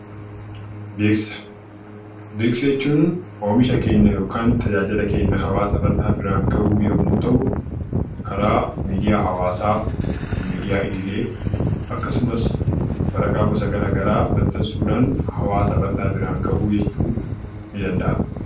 Beeksisa jechuun oomisha keenya yookaan tajaajila keenya hawaasa bal'aa biraan ga'uu yommuu ta'u, karaa miidiyaa hawaasaa, miidiyaa idilee akkasumas waraqaa gosa garaagaraa maxxansuudhaan hawaasa bal'aa biraan ga'uu jechuu ni danda'ama.